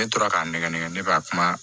Ne tora k'a nɛgɛnɛgɛ ne b'a kuma